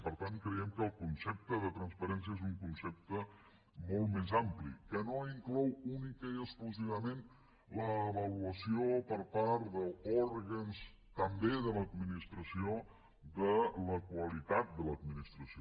per tant creiem que el concepte de transparència és un concepte molt més ampli que no inclou únicament i exclusivament l’avaluació per part d’òrgans també de l’administració de la qualitat de l’administració